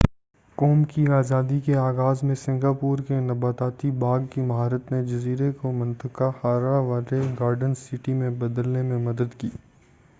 قوم کی آزادی کے آغاز میں سنگاپور کے نباتاتی باغ کی مہارت نے جزیرے کو منطقہ حارہ والے گارڈن سٹی میں بدلنے میں مدد کی